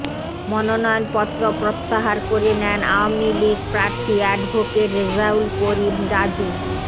মনোনয়নপত্র প্রত্যাহার করে নেন আওয়ামী লীগ প্রার্থী অ্যাডভোকেট রেজাউল করিম রাজু